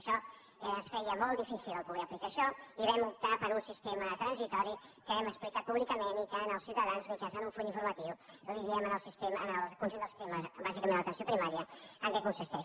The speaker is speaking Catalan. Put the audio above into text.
això ens feia molt difícil poder aplicar això i vam optar per un sistema transitori que hem explicat públicament i que als ciutadans mitjançant un full informatiu els diem al conjunt del sistema bàsicament a l’atenció primària en què consisteix